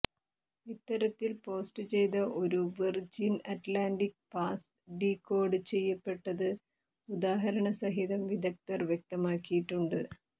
ഇത്തരത്തിൽ പോസ്റ്റ് ചെയ്ത ഒരു Virgin Atlantic pass decode ചെയ്യപ്പെട്ടത് ഉദാഹരണസഹിതം വിഗദ്ധർ വ്യക്തമാക്കിയിട്ടുണ്ട്